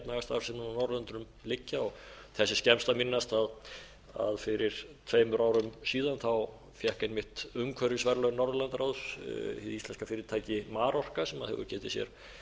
efnahagsstarfseminni á norðurlöndunum liggja og þess er skemmst að minnast að fyrir tveimur árum síðan fékk einmitt umhverfisverðlaun norðurlandaráðs hið íslenska fyrirtæki marorka sem hefur getið sér